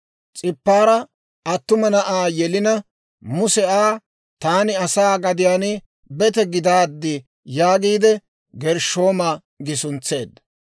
S'ipaara attuma na'aa yelina, Muse Aa, «Taani asaa gadiyaan bete gidaad» yaagiide, Gershshooma gi suntseedda.